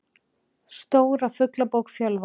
Stóra Fuglabók Fjölva.